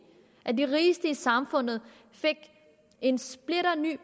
at de rigeste i samfundet fik en splinterny